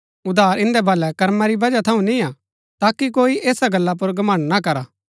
उद्धार इन्दै भलै कर्मा री बजहा थऊँ निय्आ ताकि कोई ऐसा गल्ला पुर घमण्ड़ ना करा